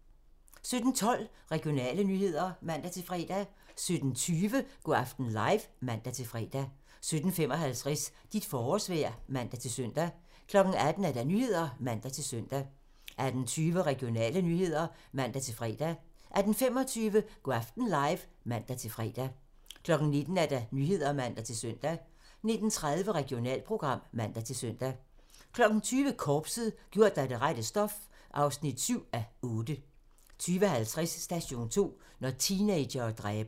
17:12: Regionale nyheder (man-fre) 17:20: Go' aften live (man-fre) 17:55: Dit forårsvejr (man-søn) 18:00: Nyhederne (man-søn) 18:20: Regionale nyheder (man-fre) 18:25: Go' aften live (man-fre) 19:00: Nyhederne (man-søn) 19:30: Regionalprogram (man-søn) 20:00: Korpset - gjort af det rette stof (7:8) 20:50: Station 2: Når teenagere dræber